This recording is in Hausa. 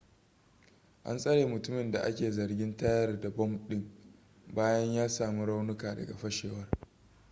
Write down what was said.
an tsare mutumin da a ke zargin tayar da bom ɗin bayan ya sami raunuka daga fashewar